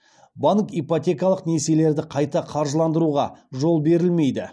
банк ипотекалық несиелерді қайта қаржыландыруға жол берілмейді